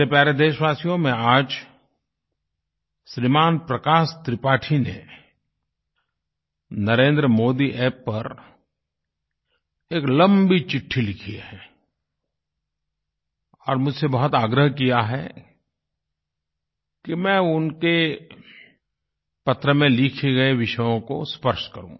मेरे प्यारे देशवासियो मैं आज श्रीमान प्रकाश त्रिपाठी ने NarendraModiApp पर एक लम्बी चिट्ठी लिखी है और मुझसे बहुत आग्रह किया है कि मैं उनके पत्र में लिखे गए विषयों को स्पर्श करूँ